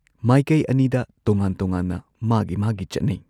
ꯃꯥꯏꯀꯩ ꯑꯅꯤꯗ ꯇꯣꯉꯥꯟ ꯇꯣꯉꯥꯟꯅ ꯃꯥꯒꯤ ꯃꯥꯒꯤ ꯆꯠꯅꯩ꯫